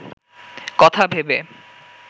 কথা ভেবে